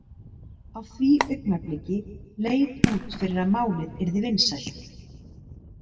Á því augnabliki leit út fyrir að málið yrði vinsælt.